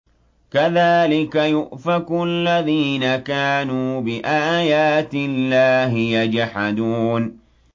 كَذَٰلِكَ يُؤْفَكُ الَّذِينَ كَانُوا بِآيَاتِ اللَّهِ يَجْحَدُونَ